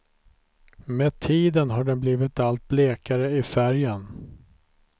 Med tiden har den blivit allt blekare i färgen.